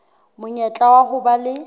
monyetla wa ho ba le